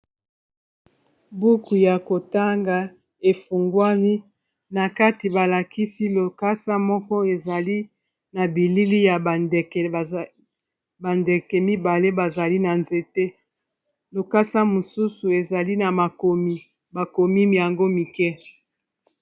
Buku ya kotanga efungwami na kati ba lakisi lokasa moko ezali na bilili ya ba ndeke mibale bazali na nzete. Lokasa mosusu ezali na makomi, bakomi yango mike.